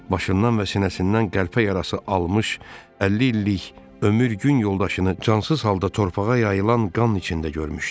başından və sinəsindən qəlpə yarası almış 50 illik ömür-gün yoldaşını cansız halda torpağa yayılan qan içində görmüşdü.